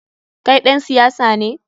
Kai ɗan siyasa ne?